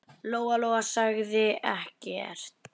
Lóa-Lóa sagði ekkert.